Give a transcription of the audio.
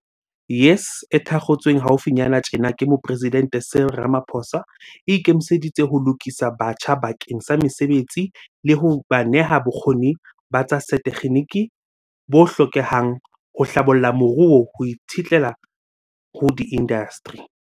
YES, e thakgotsweng hau finyana tjena ke Moporesidente Cyril Ramaphosa, e ikemiseditse ho lokisa batjha bakeng sa mesebetsi le ho ba neha bokgoni ba tsa setekginiki bo hlokehang ho hlabolla moruo ho itshetleha ho diindasteri.